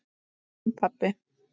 Þinn, pabbi.